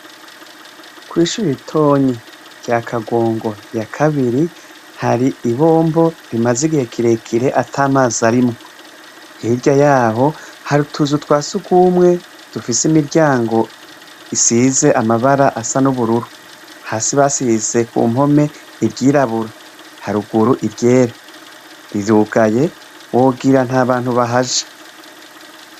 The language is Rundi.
Kwishure ritoyi rya kagongo ya kabiri hari ibombo rimaze igihe kirekire atamazi arimwo hirya yaho hari utuzu twasugumwe dufise imiryango isize amabara asa nubururu hasi basize kumpome iryirabura rirugaye wogira ntabantu bahaca